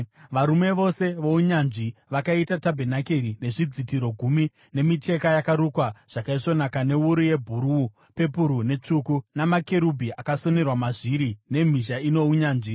Varume vose vounyanzvi vakaita tabhenakeri nezvidzitiro gumi zvemicheka yakarukwa zvakaisvonaka newuru yebhuruu, pepuru netsvuku, namakerubhi akasonerwa mazviri nemhizha ino unyanzvi.